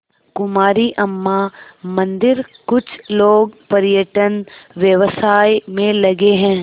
कुमारी अम्मा मंदिरकुछ लोग पर्यटन व्यवसाय में लगे हैं